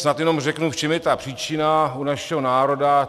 Snad jenom řeknu, v čem je ta příčina u našeho národa.